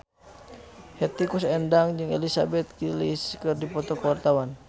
Hetty Koes Endang jeung Elizabeth Gillies keur dipoto ku wartawan